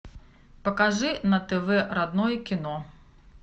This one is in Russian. покажи на тв родное кино